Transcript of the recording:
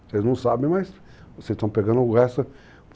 Vocês não sabem, mas vocês estão pegando o resto.